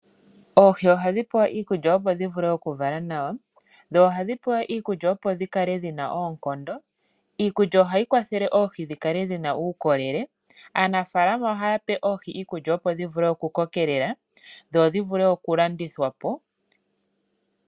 Oohi ohadhi pewa iikulya opo dhi vule okuvala nawa. Dho ohadhi pewa iikulya opo dhi kale dhi na oonkondo. Iikulya ohayi kwathele oohi dhi kale dhi na uukolele. Aanafaalama ohaya pe oohi iikulya opo dhi vule okukokelela dho dhi vule okulandithwa po.